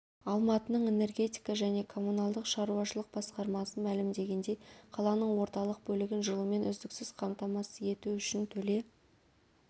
алматының энергетика және коммуналдық шаруашылық басқармасы мәлімдегендей қаланың орталық бөлігін жылумен үздіксіз қамтамасыз ету үшін төле